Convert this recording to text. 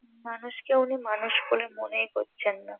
মানুষ কে উনি মানুষ বলে মনেই করছেন না